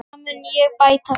Það mun ég bæta þér.